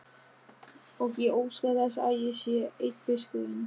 Og ég óska þess að ég sé einn fiskurinn.